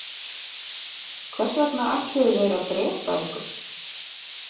Hvers vegna ætluðu þeir að drepa ykkur?